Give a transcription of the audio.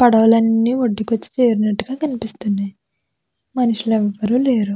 పడవలన్నీ ఒడ్డుకి వచ్చి చెరినట్టుగా కనిపిస్తున్నాయి. మనుషులు ఎవ్వరూ లేరు.